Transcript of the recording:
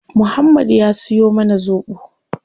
Muhammad ya siyo mana zobo